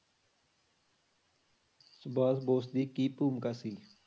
ਸੁਭਾਸ਼ ਬੋਸ ਦੀ ਕੀ ਭੂਮਿਕਾ ਸੀ?